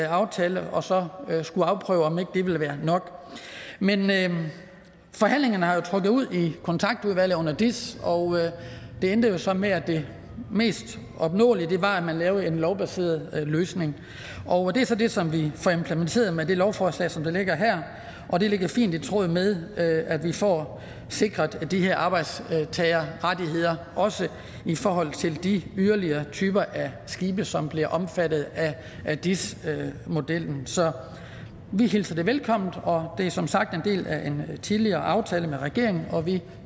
aftale og så skulle afprøve om ikke det ville være nok men forhandlingerne har trukket ud i kontaktudvalget under dis og det endte jo så med at det mest opnåelige var at man lavede en lovbaseret løsning og det er så det som vi får implementeret med det lovforslag som ligger her og det ligger fint i tråd med at vi får sikret de her arbejdstagerrettigheder også i forhold til de yderligere typer af skibe som bliver omfattet af dis modellen så vi hilser det velkommen og det er som sagt en del af en tidligere aftale med regeringen og vi